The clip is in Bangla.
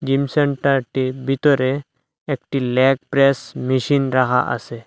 জিম সেন্টারটির ভিতরে একটি ল্যাগ প্রেস মেশিন রাখা আসে।